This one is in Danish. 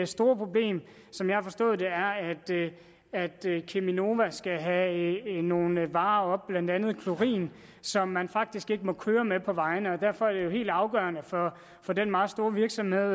store problem som jeg har forstået det er at cheminova skal have nogle varer op blandt andet klorin som man faktisk ikke må køre med på vejene derfor er det helt afgørende for den meget store virksomhed